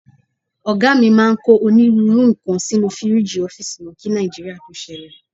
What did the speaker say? Ọ̀gá mi máa ń kó onírúurú nǹkan sínú fíríìgì ọ́fíìsì wọn kí Nàìjíríà tó ṣẹlẹ̀.